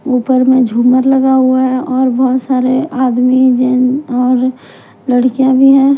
ऊपर में झूमर लगा हुआ है और बहुत सारे आदमी जैन और लड़कियाँ भी है।